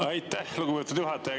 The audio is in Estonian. Aitäh, lugupeetud juhataja!